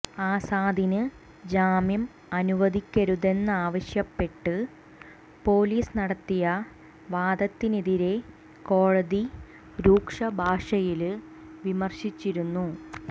ആസാദിന് ജാമ്യം അനുവദിക്കരുതെന്നാവശ്യപ്പെട്ട് പൊലിസ് നടത്തിയ വാദത്തിനെതിരെ കോടതി രൂക്ഷ ഭാഷയില് വിമര്ശിച്ചിരുന്നു